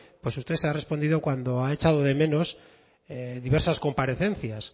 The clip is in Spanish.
pues usted se ha respondido cuando ha echado de menos diversas comparecencias